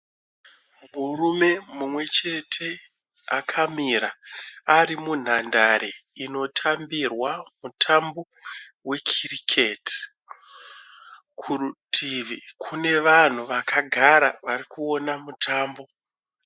Murume mumwe chete akamira ari munhandare inotambirwa mutambo wekiriketi. Kurutivi kune vanhu vakagara vari kuona mutambo.